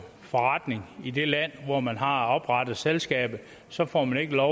forretning i det land hvor man har oprettet selskabet så får man ikke lov